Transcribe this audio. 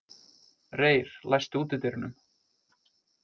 Reyr, læstu útidyrunum.